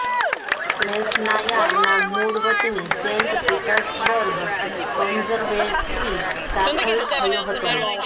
ક્રૅસ્નાયાર ના મૂળ વતની સેન્ટ પીટર્સબર્ગ કન્ઝર્વેટરી દાખલ થયો હતો